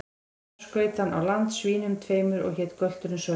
Þar skaut hann á land svínum tveimur, og hét gölturinn Sölvi.